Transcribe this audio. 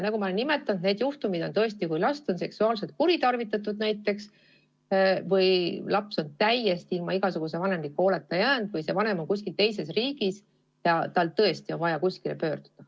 Nagu ma olen nimetanud, on need juhtumid sellised, kui last on näiteks seksuaalselt kuritarvitatud või kui laps on ilma igasuguse vanemliku hooleta jäetud või on vanem kuskil teises riigis ja lapsel on väga vaja kuskile pöörduda.